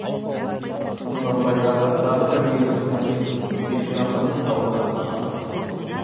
құнанбайдағы тағы бір елеусіз мотив бесжамбының дауындағы шақша қыдырту